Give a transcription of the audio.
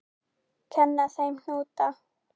Kenna þeim hnúta?